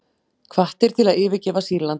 Hvattir til að yfirgefa Sýrland